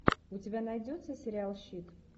у тебя найдется сериал щит